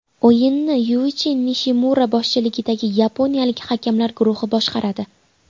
O‘yinni Yuichi Nishimura boshchiligidagi yaponiyalik hakamlar guruhi boshqaradi.